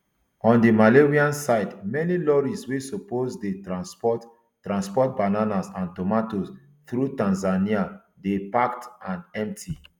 on di malawian side many lorries wey suppose dey transport transport bananas and tomatoes through tanzania dey parked and empty